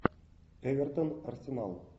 эвертон арсенал